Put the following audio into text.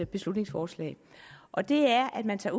beslutningsforslag og det er at man tager